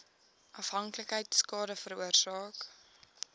afhanklikheid skade veroorsaak